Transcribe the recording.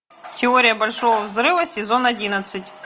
теория большого взрыва сезон одиннадцать